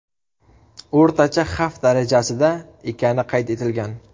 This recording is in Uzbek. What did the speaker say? O‘rtacha xavf darajasida ekani qayd etilgan.